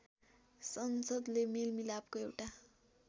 संसदले मेलमिलापको एउटा